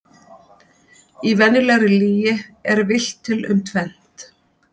Í venjulegri lygi er villt til um tvennt.